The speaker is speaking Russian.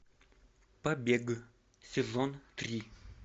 побег сезон три